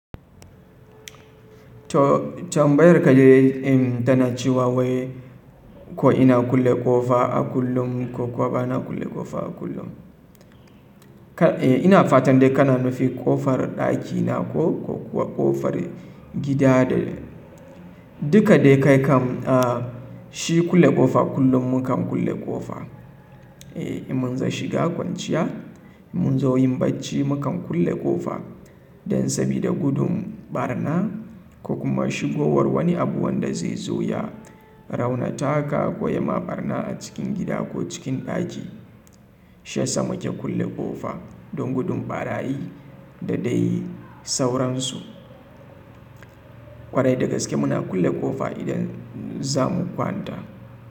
Tambayar ka dai in tana cewa wai ko ina kulle ƙofa a kullum ko kuwa ba na kulle ƙofa a kullum. E, ina fatan dai kana nufin ƙofar ɗakina ko kuwa ƙofar gida da duka dai kai kam a shi kulle ƙofa kullum mu kam kulle ƙofa. E, in mun za shiga kwanciya, mun zo yin bacci mu kam kulle ƙofa don sabida gudun ɓarna ko kuma shigowar wani abu wanda zai zo ya raunata ka ko ya ma ɓarna a cikin gida ko cikin ɗaki. Shiya sa muke kulle ƙofa don gudun ɓarayi da dai sauransu. Kwarai dagaske muna kulle ƙofa idan za mu kwanta.